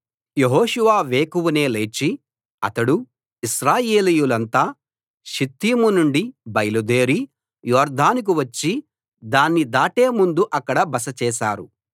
యెహోషువ వేకువనే లేచి అతడూ ఇశ్రాయేలీయులంతా షిత్తీము నుండి బయలుదేరి యొర్దానుకు వచ్చి దాన్ని దాటే ముందు అక్కడ బస చేశారు